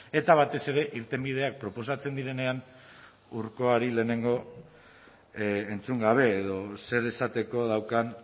eta batez ere irtenbideak proposatzen direnean urkoari lehenengo entzun gabe edo zer esateko daukan